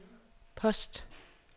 post